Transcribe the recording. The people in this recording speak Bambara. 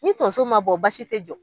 Ni tonso ma bɔ basi tɛ jɔ.